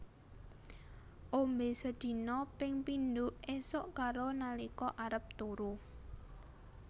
Ombe sedina ping pindho esuk karo nalika arep turu